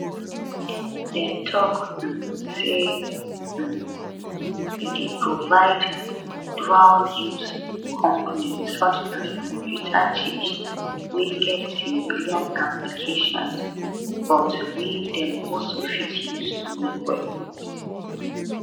dem tok um say um e dey provide dualuse components such as computer chips wey get civilian applications but wey dem also fit use to make weapons